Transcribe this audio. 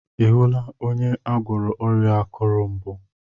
Ị hụla onye agwọrọ ọrịa akuru mbụ?